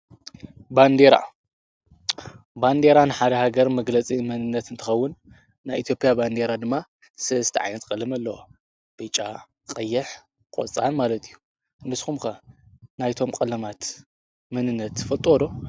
ን ባንዴራ ንሓደ ሃገር መግለጺ ምንነት እንተኸውን ናይ ኢቲያ ባንዲይራ ድማ ሥስተ ዓይነት ቀልሚ ኣለሆ በጫ ቐይሕ ቖፃን ማለት እዩ ንስኩምከ ናይቶም ቀለማት ምንነት ፈጦዶ?